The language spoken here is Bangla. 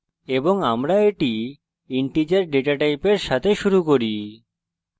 এবং আমরা এটি integer ডেটা টাইপের সাথে শুরু করছি